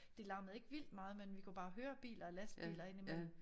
Det larmede ikke vildt meget men vi kunne bare høre biler og lastbiler ind i mellem